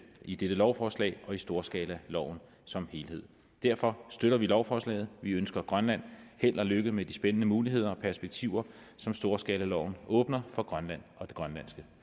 i dette lovforslag og i storskalaloven som helhed derfor støtter vi lovforslaget vi ønsker grønland held og lykke med de spændende muligheder og perspektiver som storskalaloven åbner for grønland og det grønlandske